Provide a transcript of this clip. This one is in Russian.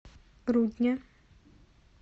рудня